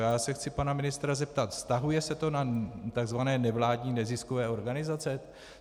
Já se chci pana ministra zeptat - vztahuje se to na tzv. nevládní neziskové organizace?